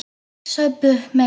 Saxað buff með lauk